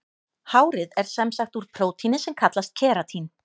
Hárið er sem sagt úr prótíni sem kallast keratín.